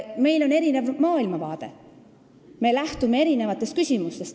Meil on erinev maailmavaade ja me lähtume erinevatest küsimustest.